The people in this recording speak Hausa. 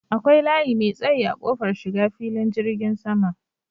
Akwai layi mai tsayi a kofar shiga filin jirgin sama.